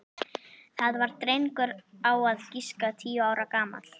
Það var drengur á að giska tíu ára gamall.